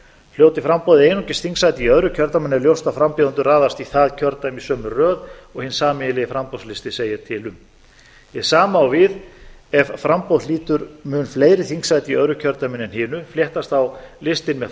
hljóti framboðið einungis þingsæti í öðru kjördæmanna er ljóst að frambjóðendur raðast í það kjördæmi í sömu röð og hinn sameiginlegi framboðslisti segir til um hið sama á við ef framboð hlýtur mun fleiri þingsæti í öðru kjördæminu en hinu fléttast þá listinn með